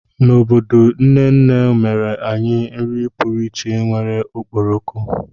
N'obodo, nne nne mere anyị nri pụrụ iche nwere okporoko.